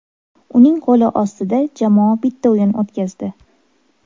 Uning qo‘li ostida jamoa bitta o‘yin o‘tkazdi.